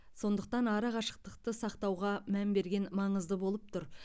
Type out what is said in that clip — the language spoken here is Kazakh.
сондықтан арақашықтықты сақтауға мән берген маңызды болып тұр